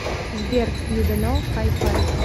сбер не дано хай фай